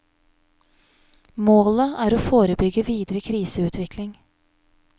Målet er å forebygge videre kriseutvikling.